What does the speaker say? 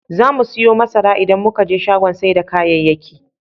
Zamu siyo masara idan muka je shagon sai da kayayyaki.